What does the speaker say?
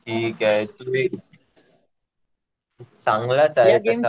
ठीक आहे. चांगलाच आहे गेम तसा.